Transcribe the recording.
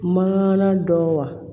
Mangana dɔ wa